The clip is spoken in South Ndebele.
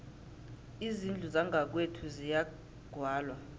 izindlu zangakwethu ziyagwalwa